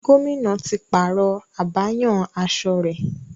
Gómìnà ti pààrọ̀ abáyanaṣọ rẹ̀.